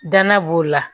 Dana b'o la